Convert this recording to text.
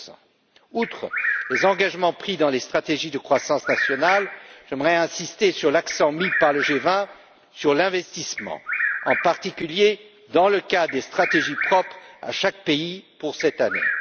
2 Outre les engagements pris dans les stratégies de croissance nationale, j'aimerais insister sur l'accent mis par le G20 sur l'investissement, en particulier, dans le cas des stratégies propres à chaque pays pour cette année.